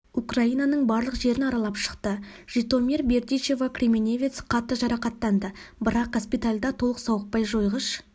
украинаның барлық жерін аралап шықты житомир бердичево кременевец қатты жарақаттанды бірақ госпитальда толық сауықпай жойғыш